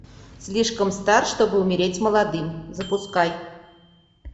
слишком стар чтобы умереть молодым запускай